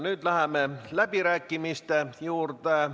Nüüd läheme läbirääkimiste juurde.